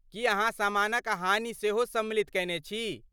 की अहाँ सामानक हानि सेहो सम्मिलित कयने छी?